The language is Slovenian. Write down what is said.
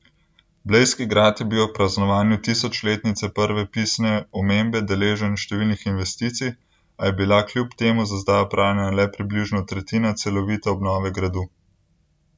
Blejski grad je bil ob praznovanju tisočletnice prve pisne omembe deležen številnih investicij, a je bila kljub temu za zdaj opravljena le približno tretjina celovite obnove gradu.